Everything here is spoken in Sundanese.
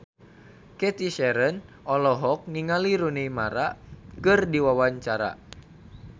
Cathy Sharon olohok ningali Rooney Mara keur diwawancara